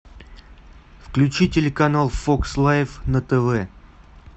включи телеканал фокс лайф на тв